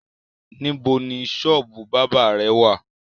Níbo ni ṣọ́ọ́bù bábà rẹ wá à?